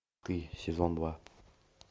ты сезон два